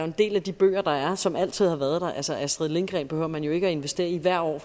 en del af de bøger der er som altid har været der altså astrid lindgren behøver man jo ikke at investere i hvert år